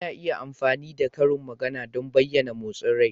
Ana iya amfani da karin magana don bayyana motsin rai.